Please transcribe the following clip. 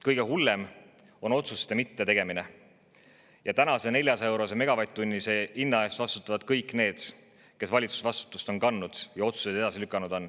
Kõige hullem on otsuste mittetegemine ja tänase 400‑eurose megavatt-tunni hinna eest vastutavad kõik need, kes on valitsusvastutust kandnud ja otsuseid edasi lükanud.